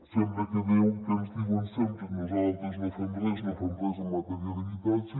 sembla que ens diuen sempre que nosaltres no fem res en matèria d’habitatge